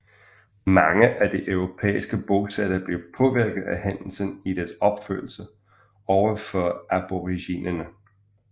Mange af de europæiske bosættere blev påvirket af hændelsen i deres opførsel over for aboriginerne